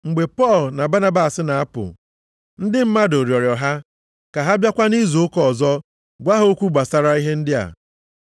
Mgbe Pọl na Banabas na-apụ, ndị mmadụ rịọrọ ha ka ha bịakwa nʼizu ụka ọzọ gwa ha okwu gbasara ihe ndị a.